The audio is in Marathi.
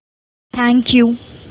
thank you